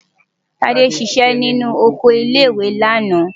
Tádé ṣiṣẹ́ nínú oko ilé-ìwé lánàá.